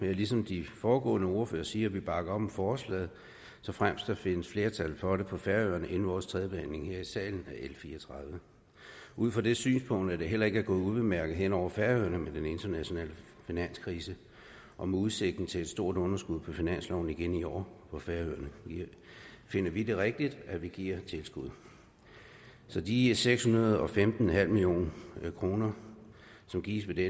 jeg ligesom de foregående ordførere sige at vi bakker op om forslaget såfremt der findes flertal for det på færøerne inden vores tredje behandling her i salen af l fire og tredive ud fra det synspunkt at det heller ikke er gået ubemærket hen over færøerne med den internationale finanskrise og med udsigten til et stort underskud på finansloven igen i år på færøerne finder vi det rigtigt at der gives tilskud så de seks hundrede og femten million kr som gives ved den